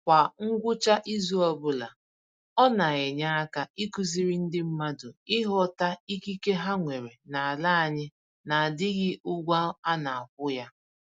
Kwa ngwụcha izu ọbụla, ọ na-enye aka ịkụziri ndị mmadụ ịghọta ikike ha nwere n'ala anyị na-adịghị ụgwọ a na-akwụ ya